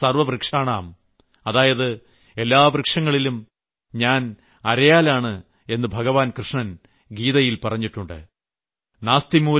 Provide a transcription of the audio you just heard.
അശ്വത്ഥസർവ്വവൃക്ഷാണാം അതായത് എല്ലാ വൃക്ഷങ്ങളിലും ഞാൻ അരയാലാണ് എന്ന് ഭഗവാൻ കൃഷ്ണൻ ഗീതയിൽ പറഞ്ഞിട്ടുണ്ട്